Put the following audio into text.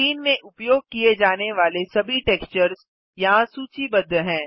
scene में उपयोग किये जाने वाले सभी टेक्सचर्स यहाँ सूचीबद्ध हैं